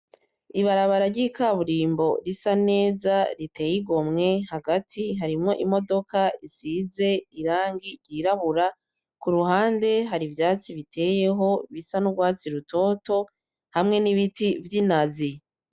Ibarabara ryikaburimbo risa neza riteye igomwe hagati harimwo imodoka isize irangi ry'irabura kuruhande hari ivyatsi biteyeho bisa nurwatsi rutoto hamwe n'ibiti vyinazi.